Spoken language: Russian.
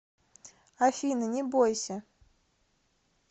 афина не бойся